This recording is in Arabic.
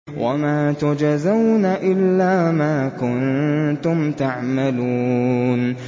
وَمَا تُجْزَوْنَ إِلَّا مَا كُنتُمْ تَعْمَلُونَ